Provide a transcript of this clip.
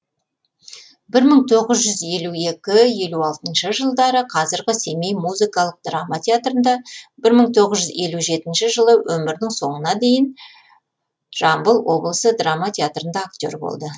бір мың тоғыз жүз елу екі елу алтыншы жылдары қазіргі семей музыкалық драма театрында бір мың тоғыз жүз елу жетінші жылы өмірінің соңына дейін жамбыл облысы драма театрында актер болды